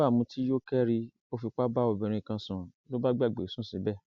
àyùbá mutí yó kẹri ó fipá bá obìnrin kan sùn ló bá gbàgbé sùn síbẹ